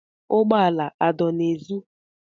Ụgbọ ala adọ n'èzí?